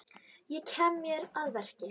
Ég kem mér að verki.